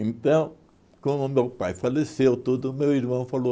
Então, como meu pai faleceu, tudo, meu irmão falou...